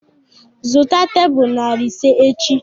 Zụta tebụl narị ise echi!